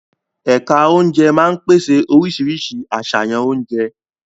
Ẹ̀ka oúnjẹ máa ń pèsè oríṣiríṣi àṣàyàn oúnjẹ.